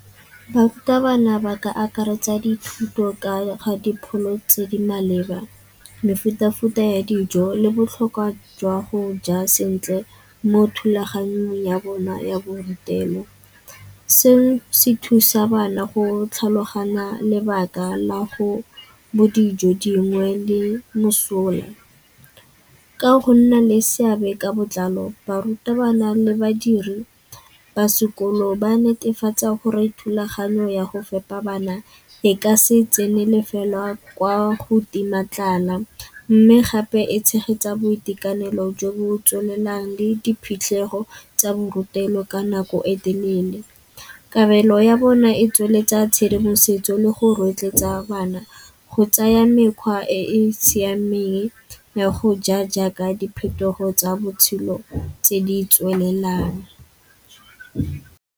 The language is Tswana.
Barutabana ba ka akaretsa dithuto ka ga dipholo tse di maleba, mefuta-futa ya dijo le botlhokwa jwa go ja sentle mo thulaganyong ya bona ya borutelo. Seno se thusa bana go tlhaloganya lebaka la go bo dijo dingwe le mosola. Ka go nna le seabe ka botlalo barutabana le badiredi ba sekolo ba netefatsa gore thulaganyo ya go fepa bana e ka se tsenele fela kwa go tima tlala. Mme gape e tshegetsa boitekanelo jo bo tswelelang le diphitlhego tsa borutelo ka nako e telele. Kabelo ya bona e tsweletsa tshedimosetso le go rotloetsa bana go tsaya mekgwa e e siameng ya go ja jaaka diphetogo tsa botshelo tse di tswelelang.